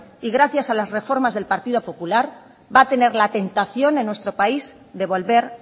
y gracias a las reformas del partido popular va a tener la tentación en nuestro país de volver